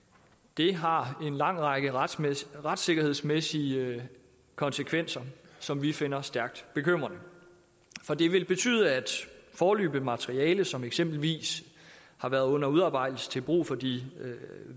det har en lang række retssikkerhedsmæssige konsekvenser som vi finder stærkt bekymrende for det vil betyde at hvis foreløbigt materiale som eksempelvis har været under udarbejdelse til brug for de